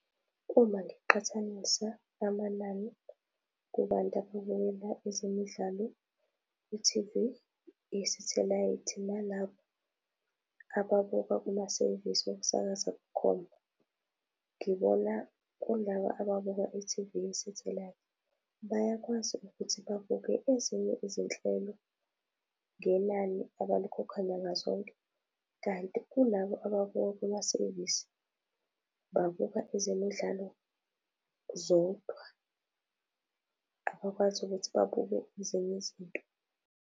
Uma ngiqhathanisa amanani kubantu ababukela ezemidlalo ku-T_V yesathelayithi nalabo ababuka kumasevisi wokusakaza bukhoma, ngibona kulaba ababuka i-T_V yesathelayithi bayakwazi ukuthi babuke ezinye izinhlelo ngenani abalikhokha nyanga zonke. Kanti kulabo abawabuka kumasevisi babuka ezemidlalo zodwa, abakwazi ukuthi babuke ezinye izinto.